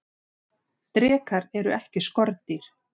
drekar eru ekki skordýr